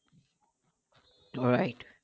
right